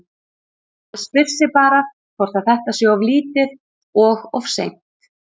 Maður spyr sig bara hvort að þetta sé of lítið og of seint?